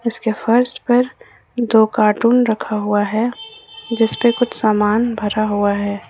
इसके फर्श पर दो कार्टून रखा हुआ है जिस पे कुछ सामान भरा हुआ है ।